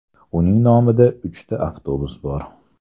Uning nomida uchta avtobus bor.